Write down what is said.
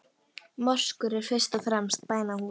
Moskur eru fyrst og fremst bænahús.